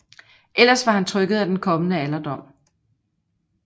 Ellers var han trykket af den kommende alderdom